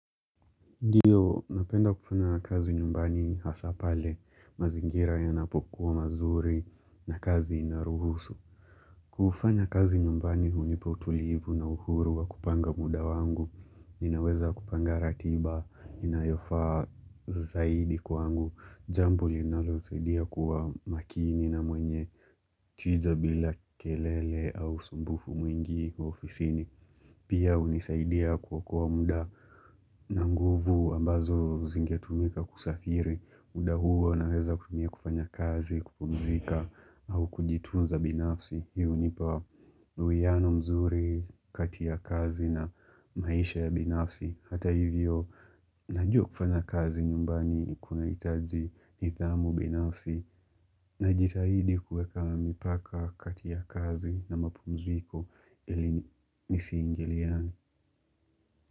Ndiyo, napenda kufanya kazi nyumbani hasa pale, mazingira yanapokuwa mazuri na kazi inaruhusu. Kufanya kazi nyumbani hunipo utulivu na uhuru wa kupanga muda wangu, ninaweza kupanga ratiba, inayofaa zaidi kwangu, jambo linalosaidia kuwa makini na mwenye tija bila kelele au usumbufu mwingi ofisini, pia hunisaidia kuokoa muda. Na nguvu ambazo zingetumika kusafiri, muda huo naweza kutumia kufanya kazi, kupumzika au kujitunza binafsi hii hunipa duweano mzuri kati ya kazi na maisha ya binafsi hata hivyo, najua kufanya kazi nyumbani kunahitaji nidhamu binafsi Najitahidi kueka mipaka kati ya kazi na mapumziko ili nisiingiliane.